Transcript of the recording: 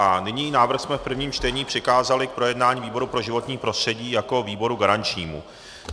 A nyní návrh jsme v prvním čtení přikázali k projednání výboru pro životní prostředí jako výboru garančnímu.